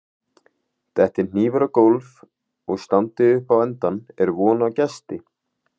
Detti hnífur á gólf og standi upp á endann er von á gesti.